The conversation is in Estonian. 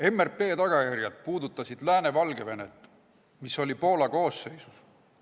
MRP tagajärjed puudutasid ka Lääne-Valgevenet, mis tollal oli Poola koosseisus.